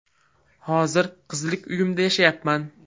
Hozir qizlik uyimda yashayapman.